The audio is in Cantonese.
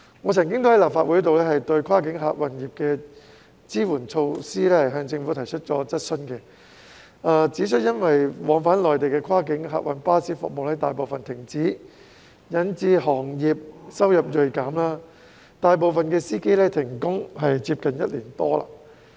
我曾經在立法會就跨境客運業的支援措施向政府提出質詢，指出因為往返內地的跨境客運巴士服務大部分停止，引致行業收入銳減，大部分司機停工接近一年多。